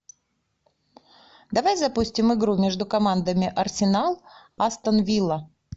давай запустим игру между командами арсенал астон вилла